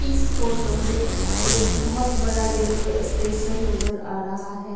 इस फोटो में एक बहुत बड़ा रेलवे स्टेशन नजर आ रहा है।